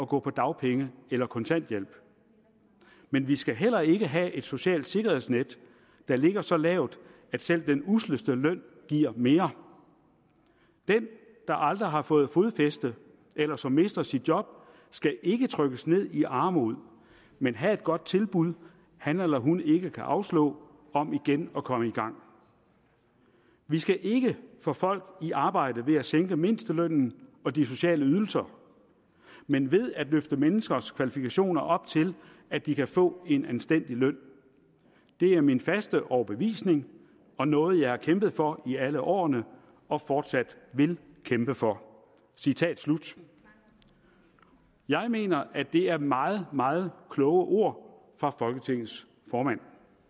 gå på dagpenge eller kontanthjælp men vi skal heller ikke have et socialt sikkerhedsnet der ligger så lavt at selv den usleste løn giver mere den der aldrig har fået fodfæste eller som mister sit job skal ikke trykkes ned i armod men have et godt tilbud han eller hun ikke kan afslå om igen at komme i gang vi skal ikke få folk i arbejde ved at sænke mindstelønnen og de sociale ydelser men ved at løfte menneskers kvalifikationer op til at de kan få en anstændig løn det er min faste overbevisning og noget jeg har kæmpet for i alle årene og fortsat vil kæmpe for citat slut jeg mener at det er meget meget kloge ord fra folketingets formand